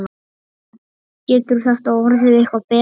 Getur þetta orðið eitthvað betra?